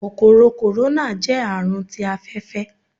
Kòkòrò kòróná. jẹ Àrùn tí afẹfẹ